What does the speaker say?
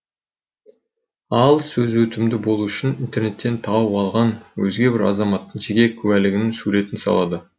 ал сөзі өтімді болуы үшін интернеттен тауып алған өзге бір азаматтың жеке куәлігінің суретін салады